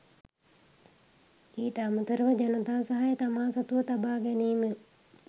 ඊට අමතරව ජනතා සහය තමා සතුව තබා ගැනීම